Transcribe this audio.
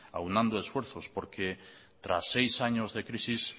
aunando esfuerzos porque tras seis años de crisis